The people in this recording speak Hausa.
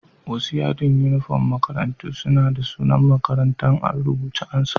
Wasu yadin uniform na makarantu suna da sunan makarantan a'rubuce a'sama.